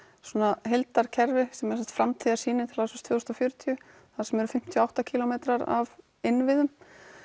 svona heildarkerfi sem er þá framtíðarsýnin til ársins tvö þúsund og fjörutíu þar sem eru fimmtíu og átta kílómetrar af innviðum